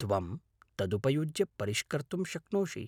त्वं तदुपयुज्य परिष्कर्तुं शक्नोषि।